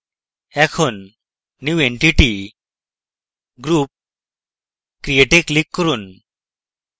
এখন new entity>> group>> create এ click করুন